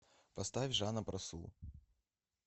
поставь жаноб расул